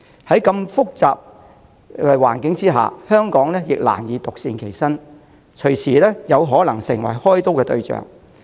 在如此複雜的環境下，香港難以獨善其身，隨時可能成為開刀對象。